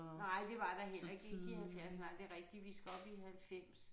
Nej det var der heller ikke ikke i 70 nej det rigtigt vi skal op i 90